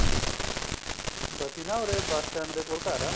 ਬੱਚੀ ਨਾ ਉਰੇ bus stand ਦੇ ਕੋਲ ਘਰ ਏਵ ਦੇਖੋ ਸਵੇਰੇ ਬੇਟਾ ਹੋਇਆ ਦੁਪਹਿਰ ਨੂੰ sugar ਘੱਟ ਗਿਆ ਉਹਦਾ